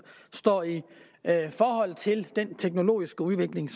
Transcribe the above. står i forhold til den teknologiske udvikling